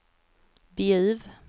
Bjuv